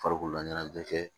Farikololaɲɛnajɛ